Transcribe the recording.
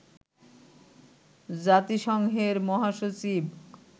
জাতিসংঘের মহাসচিব